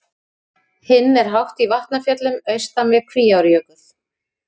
Hinn er hátt í Vatnafjöllum austan við Kvíárjökul.